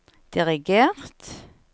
dirigert